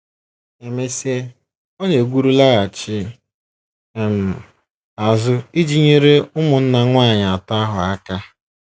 E mesịa, ọ na - egwuru laghachi um azụ iji nyere ụmụnna nwanyị atọ ahụ aka.